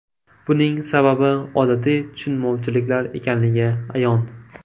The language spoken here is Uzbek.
Buning sababi odatiy tushunmovchiliklar ekanligi ayon.